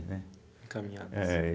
Né. Encaminhadas. é